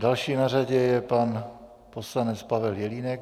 Další na řadě je pan poslanec Pavel Jelínek.